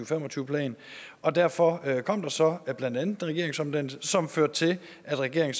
fem og tyve plan og derfor kom der så blandt andet en regeringsomdannelse som førte til at regeringen